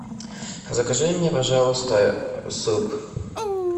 закажи мне пожалуйста суп